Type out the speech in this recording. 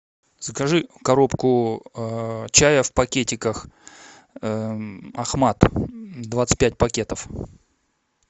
закажи коробку чая в пакетиках ахмад двадцать пять пакетов